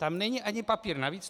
Tam není ani papír navíc!